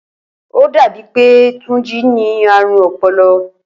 Ó dàbí e̩ni pe Túnjí ní àrùn o̩po̩lo̩